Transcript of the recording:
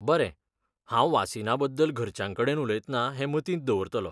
बरें, हांव वासीना बद्दल घरच्यांकडेन उलयतना हें मतींत दवरतलों .